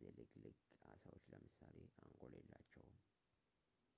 ዝልግልግ ዓሣዎች ለምሳሌ አንጎል የላቸውም